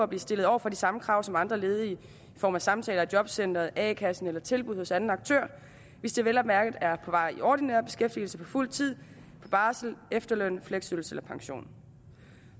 blive stillet over for de samme krav som andre ledige i form af samtaler i jobcenteret a kassen eller tilbud hos anden aktør hvis de vel at mærke er på vej i ordinær beskæftigelse på fuld tid på barsel efterløn fleksydelse eller pension